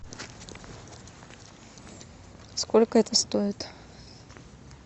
сколько это стоит